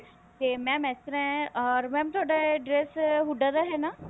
ਤੇ mam ਇਸ ਤਰ੍ਹਾਂ ਹੈ or mam ਤੁਹਾਡਾ address ਹੁੱਡਾ ਦਾ ਹੈ ਨਾ